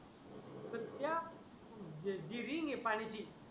कुत्या ते जीवीनी पाणीशी